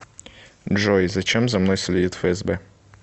джой зачем за мной следит фсб